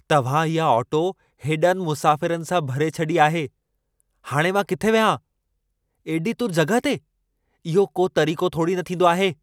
तव्हां इहा ऑटो हेॾनि मुसाफ़िरनि सां भरे छॾी आहे। हाणे मां किथे वियां? एॾी तुर जॻहि ते? इहो को तरीक़ो थोड़ी न थींदो आहे।